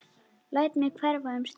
Læt mig hverfa um stund.